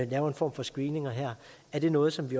laver en form for screening er det noget som vi